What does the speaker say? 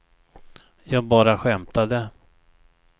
jag bara skämtade